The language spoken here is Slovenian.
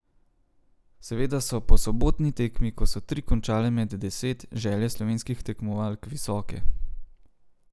Seveda so po sobotni tekmi, ko so tri končale med deset, želje slovenskih tekmovalk visoke.